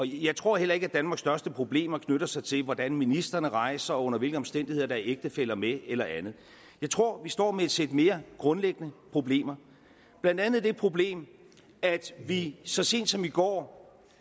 jeg tror heller ikke at danmarks største problemer knytter sig til hvordan ministrene rejser og under hvilke omstændigheder der er ægtefæller med eller andet jeg tror vi står med et sæt mere grundlæggende problemer blandt andet det problem at vi så sent som i går